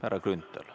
Härra Grünthal.